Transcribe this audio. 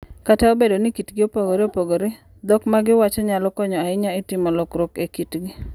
Kata obedo ni kitgi opogore opogore, dhok ma giwacho nyalo konyo ahinya e timo lokruok e kitgi.